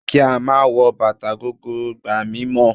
Kí á máa wọ bàtà gogoro gba mímọ̀.